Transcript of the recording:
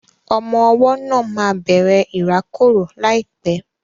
Ọmọ ọwọ́ náà máa bẹ̀rẹ̀ ìrákòrò láìpẹ́